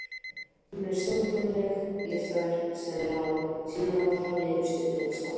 Hún er stórfenglegt listaverk sem er á sinn hátt hafið yfir stund og stað.